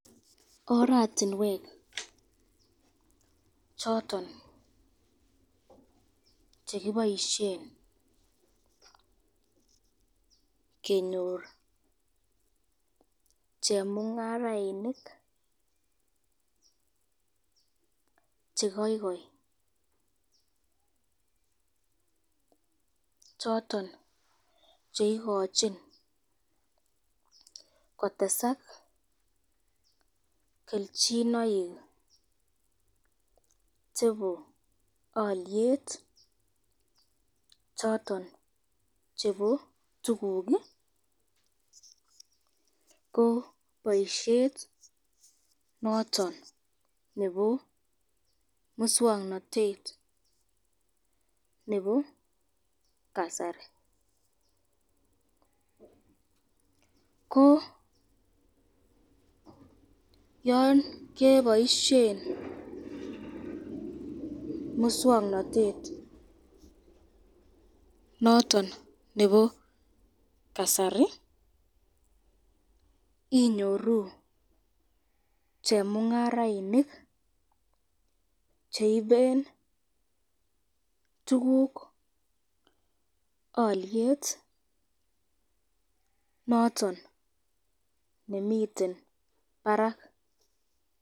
Ortinwek choton chekiboisyen kenyor chemungarainik chekoikoi choton cheikochin kotesak kelchinoik chebo alyet choton chebo tukuk ko boisyet noton nebo muswoknotet nebo kasari, ko yan keboisyen muswoknotet noton nebo kasari inyoru chemungarainik cheiben tukuk alyet noton nemiten barak.